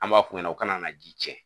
An b'a f'u ɲɛna o kana na ji cɛn.